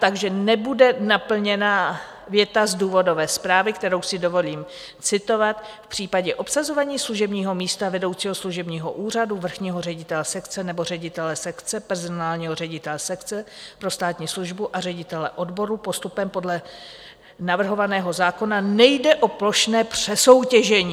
Takže nebude naplněna věta z důvodové zprávy, kterou si dovolím citovat: "V případě obsazování služebního místa vedoucího služebního úřadu, vrchního ředitele sekce nebo ředitele sekce, personálního ředitele sekce pro státní službu a ředitele odboru postupem podle navrhovaného zákona nejde o plošné přesoutěžení."